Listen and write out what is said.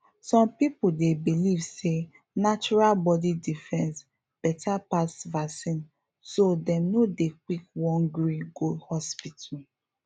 some people dey believe say natural body defense better pass vaccine so dem no dey quick won gree go hospital